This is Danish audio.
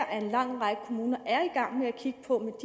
at en lang række kommuner er i gang med at kigge på